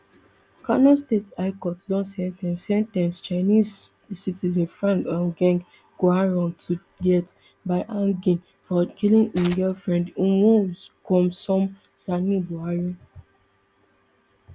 kano state high court don sen ten ce sen ten ce chinese citizen frank um geng quarong to death by hanging for killing im nigerian girlfriend ummulkhulsum sani buhari